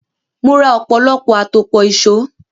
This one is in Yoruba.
Mo ra ọ̀pọ̀lọpọ̀ àtòpọ̀ ìṣó.